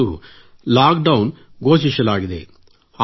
ಈಗಂತೂ ಲಾಕ್ಡೌನ್ ಘೋಷಿಸಲಾಗಿದೆ